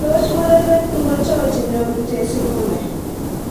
Toos murenik ngocho che nyooru tezi dume?